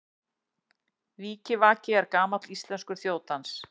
Vikivaki er gamall íslenskur þjóðdans.